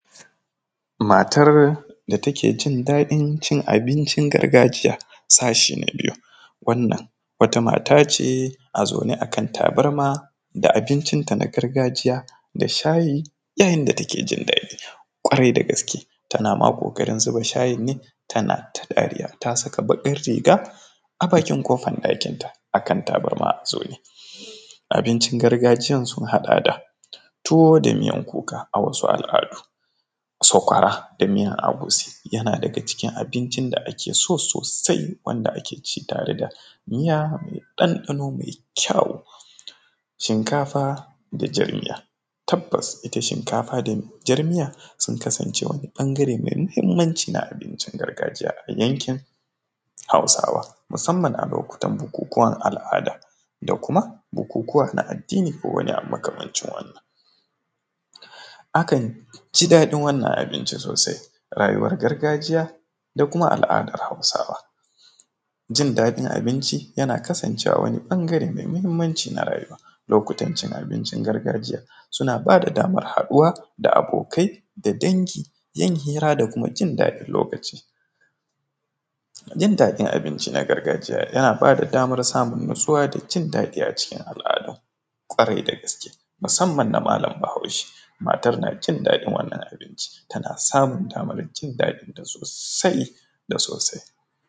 Matar da takejin daɗin cin abinci gargajiya sashi na biyu wannan wata mata ce a zaune akan tabarma da abincin ta na gargajiya da shayi yayin da take jin daɗi kwarai da gaske, tana ma ƙoƙarin zuba shayin ne tana ta dariya ta saka baƙin riga a bakin ƙofan ɗakinta akan tabarma abincin gargajiyan sun haɗa da tuwo da miyan kuka a wasu al’adu sakwara da miyan ogusi yana daga cikin abincin da ake so sosai wanda ake ci tare da miya mai ɗanɗano mai kyawu shinkafa da jan miya tabbas ita shinkafa da jar miya sun kasance wani bangare mai muhimmanci na abincin gargajiya na yankin hausawa musamman a lokutan bukukuwan al’ada da kuma bukukuwa na addini da makamancin wannan, akan ji daɗin wannan abinci sosai rayuwar gargajiya da kuma al’adar hausawa jin daɗin abinci yana iya kasancewa wani bangare mai muhimmanci na rayuwa, lokutan cin abincin gargajiya suna bada damar haɗuwa da abokai da dangi yin hira da kuma jin daɗin lokacin jin daɗin abinci na gargajiya yana bada damar samun nutsuwa da jin daɗin a cikin al’adu kwarai da gaske musamman na malam bahaushe matar na jin daɗin wannan abinci ta na samun damar jin daɗinta sosai da sosai.